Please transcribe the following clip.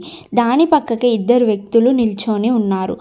దాని పక్కాకే ఇద్దరు వ్యక్తులు నిల్చోని ఉన్నారు.